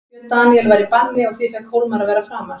Björn Daníel var í banni og því fékk Hólmar að vera framar.